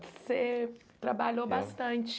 Você trabalhou bastante...